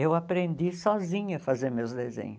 Eu aprendi sozinha a fazer meus desenhos.